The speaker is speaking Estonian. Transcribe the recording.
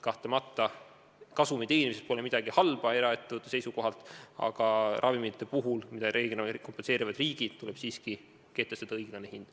Kahtlemata pole eraettevõtluse seisukohalt kasumi teenimises midagi halba, aga ravimite puhul, mida reeglina kompenseerivad riigid, tuleb siiski kehtestada õiglane hind.